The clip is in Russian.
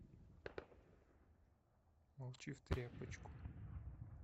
молчи в тряпочку